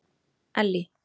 Ellý